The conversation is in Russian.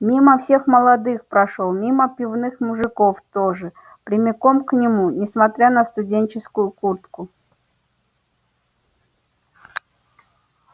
мимо всех молодых прошёл мимо пивных мужиков тоже прямиком к нему несмотря на студенческую куртку